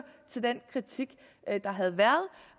til den kritik der havde været